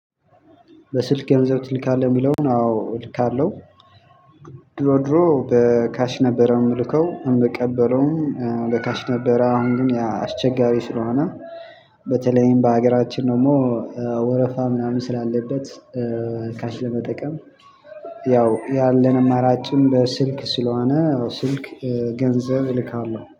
በስልክ ገንዘብ ትልካለህ የሚለውን አዎ እልካለሁ። ድሮ ድሮ በካሽ ነበረ የምልከው እምቀበለውን ለካሽ ነበረ። አሁን ግን አስቸጋሪ ስለሆነ በተለይም በሀገራችን ደግሞ ወረፋ ምናምን ስላለበት ካሽ ለመጠቀም ያው ያለን አማራጭም በስልክ ስለሆነ ስልክ ገንዘብ እልካለሁ